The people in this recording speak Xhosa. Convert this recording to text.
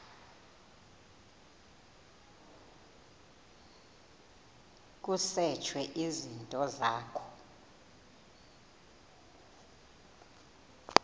kusetshwe izinto zakho